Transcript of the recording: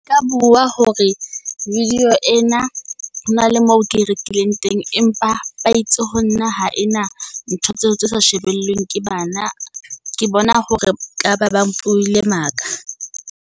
Ka bua hore video ena hona le moo ke e rekileng teng, empa ba itse ho nna ha ena ntho tseo tse sa shebeleng ke bana. Ke bona hore ka ba ba buile maka.